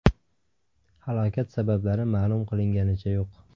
Halokat sabablari ma’lum qilinganicha yo‘q.